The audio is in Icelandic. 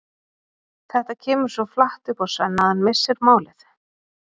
Þetta kemur svo flatt upp á Svenna að hann missir málið.